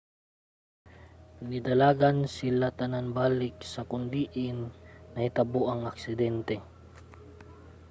nidalagan sila tanan balik sa kon diin nahitabo ang aksidente